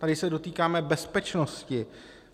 Tady se dotýkáme bezpečnosti.